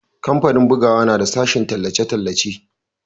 kamfanin bugawa na da sashen tallace-tallace